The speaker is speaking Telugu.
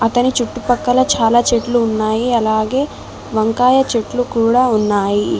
ఇతని చుట్టుపక్కల చాలా చెట్లు ఉన్నాయి అలాగే వంకాయ చెట్లు కూడా ఉన్నాయి.